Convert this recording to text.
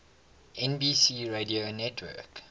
nbc radio network